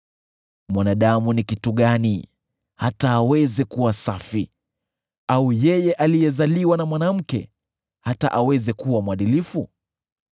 “Mwanadamu ni kitu gani, hata aweze kuwa safi, au yeye aliyezaliwa na mwanamke, hata aweze kuwa mwadilifu?